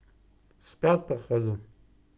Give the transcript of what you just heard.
спят по ходу